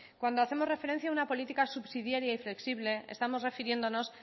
cuando hacemos referencia a una política subsidiaria y flexible estamos refiriéndonos